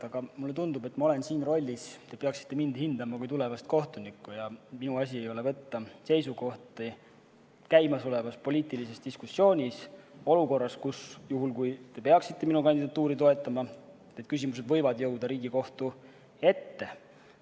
Aga mulle tundub, et ma olen siin rollis, kus te peaksite mind hindama kui tulevast kohtunikku ja minu asi ei ole võtta seisukohti käimasolevas poliitilises diskussioonis – olukorras, kus, juhul kui te peaksite minu kandidatuuri toetama, need küsimused võivad jõuda Riigikohtu ette.